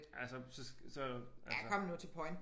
Altså så så altså